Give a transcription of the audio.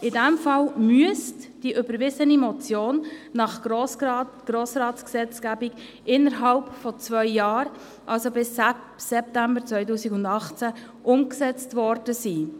In diesem Fall müsste die überwiesene Motion nach Grossratsgesetzgebung innerhalb von zwei Jahren, also bis September 2018, umgesetzt worden sein.